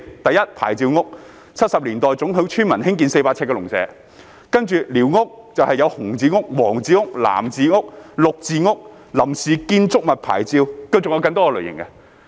第一，"牌照屋"，是1970年代准許村民興建的400平方呎農舍；其次是寮屋，分為"紅字屋"、"黃字屋"、"藍字屋"、"綠字屋"；另外是臨時建築物牌照，還有更多類型。